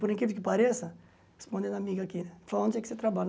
Por incrível que pareça, respondendo a amiga aqui, onde é que você trabalha?